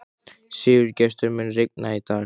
Sigurgestur, mun rigna í dag?